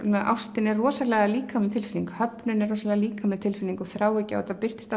ástin er rosalega líkamleg tilfinning höfnun er rosalega líkamleg tilfinning og þráhyggja og þetta birtist